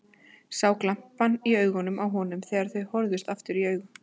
Sá glampann í augunum á honum þegar þau horfðust aftur í augu.